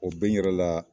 O bɛ n yɛrɛ la